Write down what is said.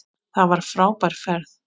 Það var frábær ferð.